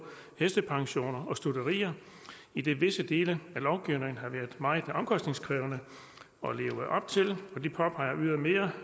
hestepensioner og stutterier idet visse dele af lovgivningen har været meget omkostningskrævende at leve op til de påpeger ydermere